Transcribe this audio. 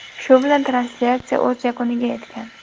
Shu bilan translyatsiya o‘z yakuniga yetgan.